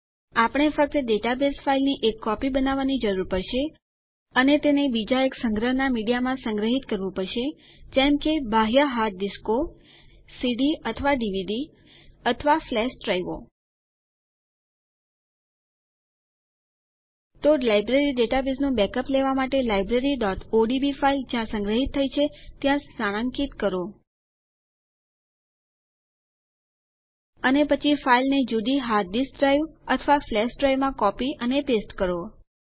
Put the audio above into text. આપણે ફક્ત ડેટાબેઝ ફાઈલની એક કોપી બનાવવાની જરૂર પડશે અને તેને બીજા એક સંગ્રહનાં મીડિયામાં સંગ્રહિત કરવું પડશે જેમ કે બાહ્ય હાર્ડ ડીસ્કો સીડી અથવા ડીવીડી અથવા ફ્લેશ ડ્રાઈવો તો લાઈબ્રેરી ડેટાબેઝનું બેકઅપ લેવાં માટે libraryઓડીબી ફાઈલ જ્યાં સંગ્રહિત થઇ છે ત્યાં સ્થાનાન્કિત કરો અને પછી ફાઈલને જુદી હાર્ડ ડીસ્ક ડ્રાઈવ અથવા ફ્લેશ ડ્રાઈવમાં કોપી અને પેસ્ટ કરો